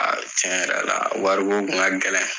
Cɛn yɛrɛ la wariko kun ka gɛlɛn